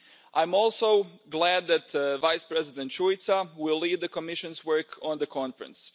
I'm also glad that Vice-President Šuica will lead the Commission's work on the conference.